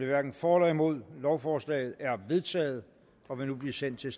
hverken for eller imod stemte lovforslaget er vedtaget og vil nu blive sendt til